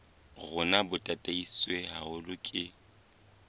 rona bo tataiswe haholo ke